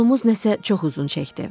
Yolumuz nəsə çox uzun çəkdi.